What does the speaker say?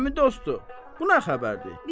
Əmi dostu, bu nə xəbərdir?